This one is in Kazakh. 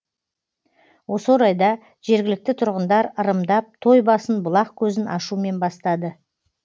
осы орайда жергілікті тұрғындар ырымдап той басын бұлақ көзін ашумен бастады